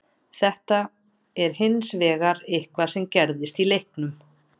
Þetta er hins vegar eitthvað sem gerðist í leiknum.